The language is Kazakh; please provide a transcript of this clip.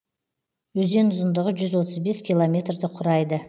өзен ұзындығы жүз отыз бес километрді құрайды